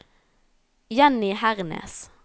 Jenny Hernes